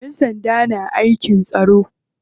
Ƴan sanda na aikin tsaro.